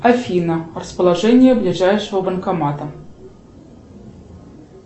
афина расположение ближайшего банкомата